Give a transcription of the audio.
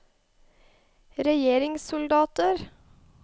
regjeringssoldater